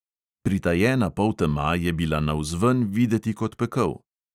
Pritajena poltema je bila navzven videti kot pekel.